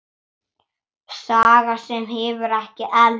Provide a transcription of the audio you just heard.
Saga sem hefur ekki elst.